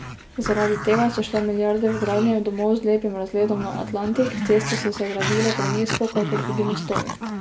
Zaradi tega so šle milijarde v gradnje domov z lepim razgledom na Atlantik, ceste so se gradile prenizko kakor tudi mostovi.